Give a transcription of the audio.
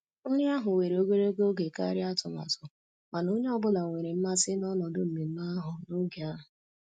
Nri ahụ were ogologo oge karịa atụmatụ, mana onye ọ bụla nwere mmasị n'ọnọdụ mmemme ahụ na'oge ahụ